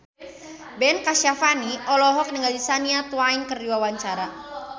Ben Kasyafani olohok ningali Shania Twain keur diwawancara